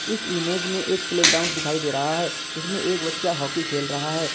इस इमेज में एक प्लेग्राउंड दिखाई दे रहा है जिसमें एक बच्चा हॉकी खेल रहा है।